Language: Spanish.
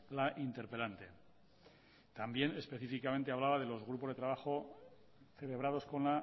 la interpelante también específicamente hablaba de los grupos de trabajo celebrados con